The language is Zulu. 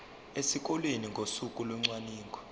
esikoleni ngosuku locwaningo